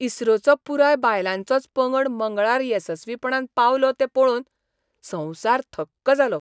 इस्रोचो पुराय बायलांचोच पंगड मंगळार येसस्वीपणान पावलो तें पळोवन संवसार थक्क जालो.